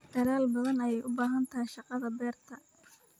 dadhal badhan yey ubahantahay shaqadha berta